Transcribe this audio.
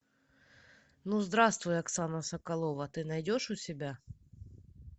ну здравствуй оксана соколова ты найдешь у себя